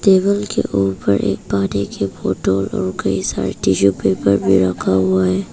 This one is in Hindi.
टेबल के ऊपर एक पानी की बॉटल और कई सारे टिशू पेपर भी रखा हुआ है।